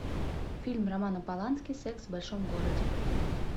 фильм романа полански секс в большом городе